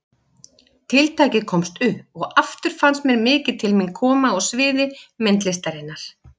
Tiltækið komst upp og aftur fannst mér mikið til mín koma á sviði myndlistarinnar.